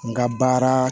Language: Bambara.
N ka baara